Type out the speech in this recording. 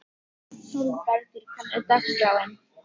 Hugmyndir um tíma og rúm brenglast.